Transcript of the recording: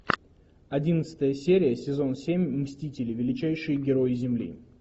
одиннадцатая серия сезон семь мстители величайшие герои земли